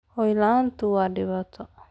Hoy la'aantu waa dhibaato.